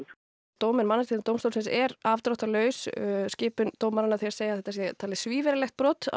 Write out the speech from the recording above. dómur Mannréttindadómstólsins er afdráttarlaus skipun dómaranna þeir segja að þetta sé svívirðilegt brot á